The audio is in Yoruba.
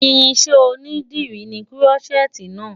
Irinṣẹ́ onídìrí ni Kúrọ́ṣẹ́ẹ́tì náà.